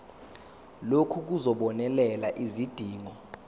lokhu kuzobonelela izidingo